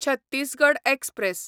Chhattisgarh express